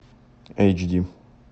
эйч ди